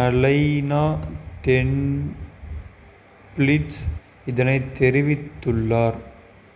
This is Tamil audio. அலைனா டெப்பிலிட்ஸ் இதனை தெரிவித்துள்ளார்